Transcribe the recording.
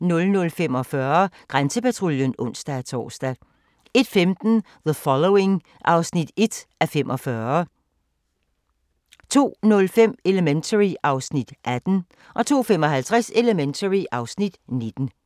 00:45: Grænsepatruljen (ons-tor) 01:15: The Following (1:45) 02:05: Elementary (Afs. 18) 02:55: Elementary (Afs. 19)